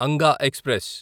Anga express